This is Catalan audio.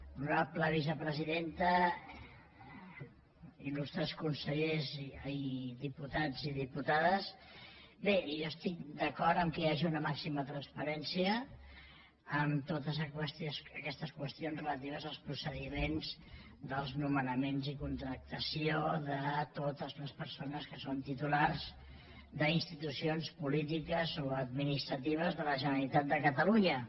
honorable vicepresidenta il·lustres diputats i diputades bé jo estic d’acord que hi hagi una màxima transparència en totes aquestes qüestions relatives als procediments dels nomenaments i contractació de totes les persones que són titulars d’institucions polítiques o administratives de la generalitat de catalunya